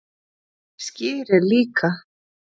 Skyr er líka